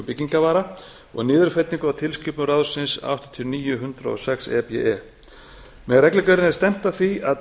byggingarvara og niðurfellingu á tilskipun ráðsins áttatíu og níu hundrað og sex e b e með reglugerðinni er stefnt að því að